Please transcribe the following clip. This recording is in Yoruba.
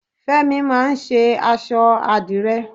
Fémi máà ń ṣe aṣọ àdìrẹ.